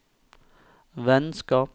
vennskap